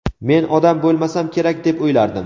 Men odam bo‘lmasam kerak deb o‘ylardim.